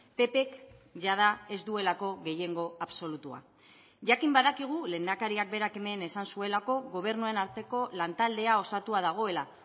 ppk jada ez duelako gehiengo absolutua jakin badakigu lehendakariak berak hemen esan zuelako gobernuen arteko lantaldea osatua dagoela